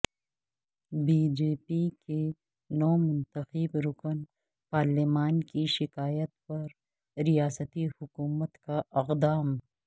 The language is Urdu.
بی جے پی کے نومنتخب رکن پارلیمان کی شکایت پرریاستی حکومت کا اقدام